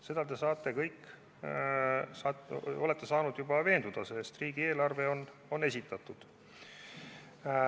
Selles olete te kõik juba veenduda saanud, sest riigieelarve on esitatud.